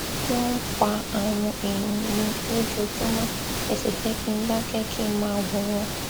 wọn ń pa àwọn èèyàn mi lójoojúmọ ẹ sì fẹ kí n dákẹ kí n máa wòran